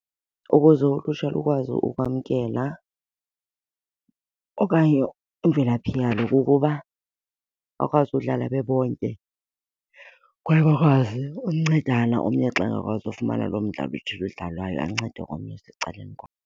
Ukuze ulutsha lukwazi ukwamkela okanye imvelaphi yalo kukuba bakwazi udlala bebonke kwaye bakwazi uncedana, omnye xa engakwazi ufumana loo mdlalo uthile udlalwayo ancede omnye osecaleni kwakhe.